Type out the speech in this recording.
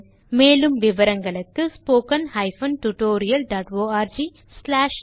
மேலும் விவரங்களுக்கு 2 மூலப்பாடம் டேலன்ட்ஸ்பிரின்ட்